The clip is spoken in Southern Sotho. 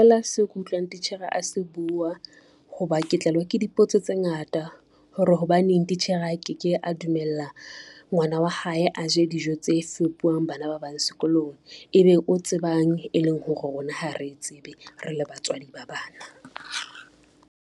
Seo ke utlwang titjhere a se bua ho ba ke tlelwa ke dipotso tse ngata hore hobaneng titjhere a ke ke a dumella ngwana wa hae a je dijo tse fepuwang bana ba bang sekolong. Ebe o tsebang e leng ho rona ha re e tsebe, rele batswadi ba bana.